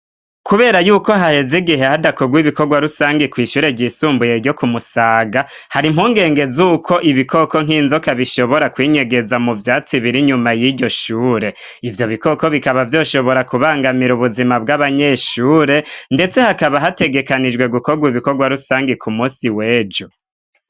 Kubera yuko haheze igihe hadakogwa ibikorwa rusange ku ishure ry'isumbuye ryo kumusaga hari mpungenge z'uko ibikoko nk'inzoka bishobora kwinyegeza mu vyatsi biri nyuma y'iryoshure ivyo bikoko bikaba vyoshobora kubangamira ubuzima bw'abanyeshure ndetse hakaba hategekanijwe gukogwa ibikorwa rusange ku musi w'ejo.